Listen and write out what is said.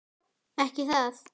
Ekki það?